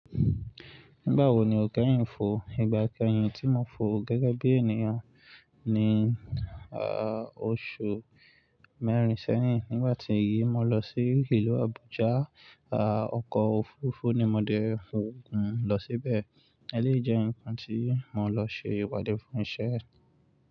Nígbà wo ni o kẹ́yìn fò? Ìgbà kẹ́yìn tí mo fò gẹ́gẹ́ bí ènìyàn ni, ah, oṣù mẹ́rin sẹ́yìn. Nígbà tí èyí mo lọ sí ìlú Abuja, ah, ọkọ̀ òfuurufú ni mo dẹ fò gùn lọ síbẹ̀. Èlé jẹ́ ǹkan tí mo lọ ṣe ìwádìí fún iṣẹ́.